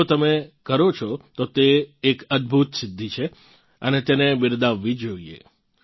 જો તમે કરો છો તો તે એક અદભુત સિદ્ધિ છે અને તેને બિરદાવવી જ જોઈએ